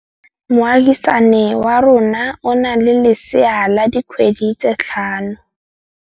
Moagisane wa rona o na le lesea la dikgwedi tse tlhano.